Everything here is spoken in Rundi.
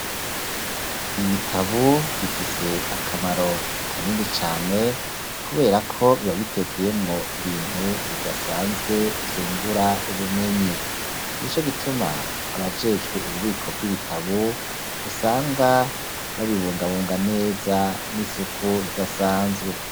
Ibitabu bifise akamaro kanini cane kubera ko bibabitekeyemo ibintu bidasanzwe vyungura ubumenyi nico gituma abajejwe ububiko bw'ibitabu usanga babibungabunga neza n'isuku ridasanzwe.